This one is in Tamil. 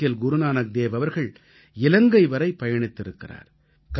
தெற்கில் குருநானக்தேவ் அவர்கள் இலங்கை வரை பயணித்திருக்கிறார்